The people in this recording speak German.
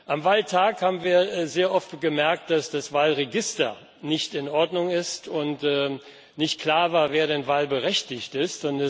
Am Wahltag haben wir sehr oft gemerkt, dass das Wahlregister nicht in Ordnung ist und nicht klar war, wer denn wahlberechtigt ist.